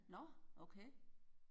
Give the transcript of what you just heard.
Nårh okay